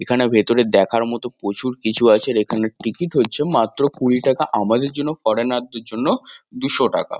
এখানে ভেতরে দেখার মতো প্রচুর কিছু আছে। এখানের টিকিট হচ্ছে মাত্র কুড়ি টাকা আমাদের জন্য ফরেনার -দের জন্য দুশো টাকা।